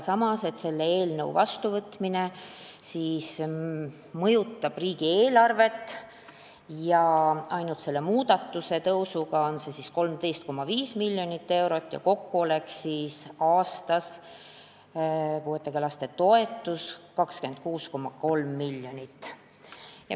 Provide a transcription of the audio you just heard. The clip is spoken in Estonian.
Samas, selle eelnõu vastuvõtmine mõjutab riigieelarvet – ainult selle muudatusega on tõus 13,5 miljonit eurot ja kokku oleks puuetega laste toetus aastas 26,3 miljonit.